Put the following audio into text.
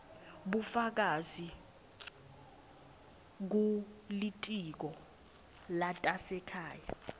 bufakazi kulitiko letasekhaya